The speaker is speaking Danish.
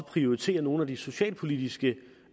prioritere nogle af de socialpolitiske